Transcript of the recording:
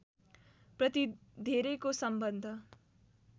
प्रति धेरैको सम्बन्ध